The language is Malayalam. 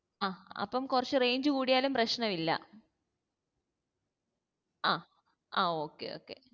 ആ അപ്പം കുറച്ചു range കൂടിയാലും പ്രശ്ന ഇല് അഹ് ആ okay okay